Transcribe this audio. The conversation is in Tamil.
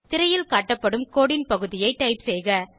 திரையில் காட்டப்படும் கோடு ன் பகுதியை டைப் செய்க